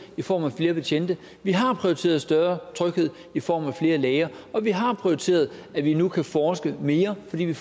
i form af flere betjente vi har prioriteret større tryghed i form af flere læger og vi har prioriteret at vi nu kan forske mere fordi vi